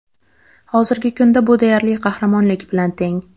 Hozirgi kunda bu deyarli qahramonlik bilan teng.